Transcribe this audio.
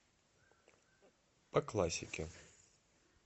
по классике